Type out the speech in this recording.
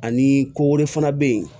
Ani ko wɛrɛ fana bɛ yen